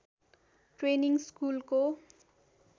training स्कुलको